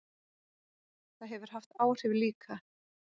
Það hefur haft áhrif líka.